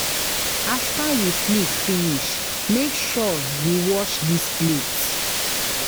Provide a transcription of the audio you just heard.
After you sleep finish make sure you wash dis plate